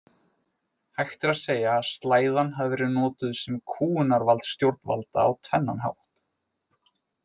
Hægt er að segja að slæðan hafi verið notuð sem kúgunarvald stjórnvalda á tvennan hátt.